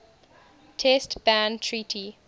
test ban treaty